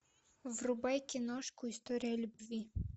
врубай киношку история любви